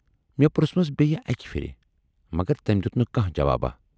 مے پرژھمَس بییہِ اکہِ پھِرِ، مگر تٔمۍ دٮُ۪ت نہٕ کانہہ جواباہ۔